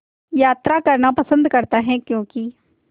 यात्रा करना पसंद करता है क्यों कि